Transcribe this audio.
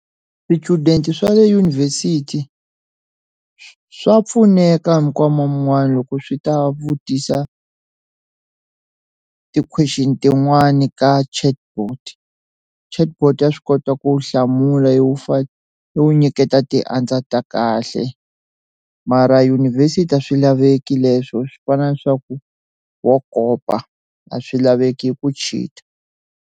Swichudeni swa le dyunivhesiti swa pfuneka mikama man'wana loko swi ta vutisa ti question tin'wani ka chatbot chatbot ya swi kota ku hlamula yi ku nyiketa ti answer ta kahle mara yunivhesiti a swilaveki leswo swi fana na leswaku wa kopa a swilaveki ku cheater.